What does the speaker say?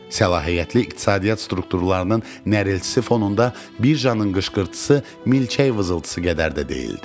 Səlahiyyətli iqtisadiyyat strukturlarının nərəltisi fonunda birjanın qışqırtısı milçək vızıltısı qədər də deyildi.